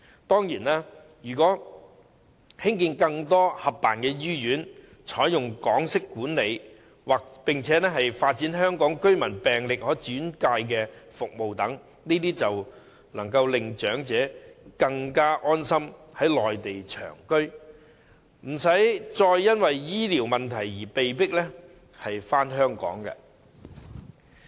當然，如果興建更多合辦醫院，採用港式管理，並且發展香港居民病歷可轉介服務等，長者便可以安心於內地長居，無需因為醫療問題而被迫返港。